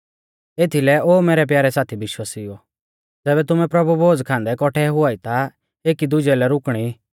एथीलै ओ मैरै प्यारै साथी विश्वासिउओ ज़ैबै तुमै प्रभु भोज खान्दै कौठै हुआई ता एकी दुजै लै रुकणी